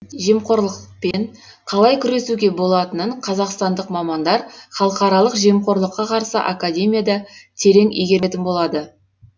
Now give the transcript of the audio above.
жемқорлықпен қалай күресуге болатынын қазақстандық мамандар халықаралық жемқорлыққа қарсы академияда терең игеретін болады